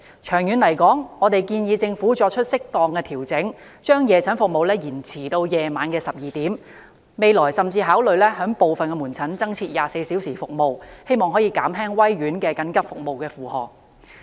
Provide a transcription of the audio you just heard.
長遠而言，我們建議政府作出適當調整，把夜診服務延長至午夜12時，未來甚至考慮部分門診增設24小時服務，藉此減輕威爾斯親王醫院緊急服務的負荷。